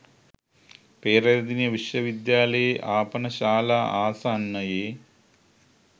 පේරාදෙණිය විශ්වවිද්‍යාලයේ ආපන ශාලා ආසන්නයේ